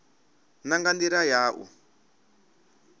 na nga ndila ya u